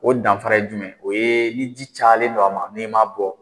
O danfara ye ye jumɛn ye, o ye ni ji cayalen don a ma , n'i m'a bɔ.